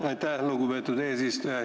Aitäh, lugupeetud eesistuja!